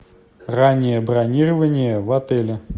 раннее бронирование в отеле